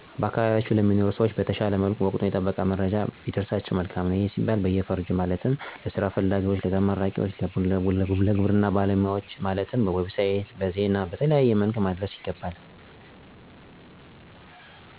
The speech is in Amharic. በአካባቢያችን ለሚኖሩ ሰዎች በተሻለ መልኩ ወቀቱን የጠበቀ መረጃ ቢደርሳቸው መልካም ነው። ይህም ሲባል በየፈርጁ እየተለየ ማለትም ለስራ ፈላጊ ተመራቂ ወጣቶች በሚዲያም ሆነ በተለያዩ"ዌብሳይት"መረጃዎችን ማድረስ ቢቻል, የጤና ዜናዎች ደግሞ በጤና ኤክስቴሽን ባለሙያዎች እንደወረርሽኝ አይነት በሽታዎች ሲከሰቱ ማህበረሰቡን ሰብስቦዎ ሊሆን ይችላል ቤት ለቤት ግንዛቤ መፍጠር፣ በግብርና በኩል የሚመጡ መረጃዎችን በግብርና ባለሙያዎች በኩል ለአርሶ አደሩ የተለያዩ ዘመናዊ የአስተራረስ፣ የዘር አዘራር፣ የምርት አሰባሰብ እና የመሳሰሉትን መረጃዎች በመስጠት ክፍተቱን, መሙላት ይቻላል።